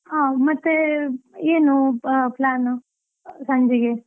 ಹಾ, ಮತ್ತೆ ಏನು plan ಸಂಜೆಗೆ?